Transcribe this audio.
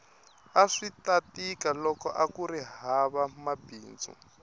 aswita tika loko akuri hava mabindzu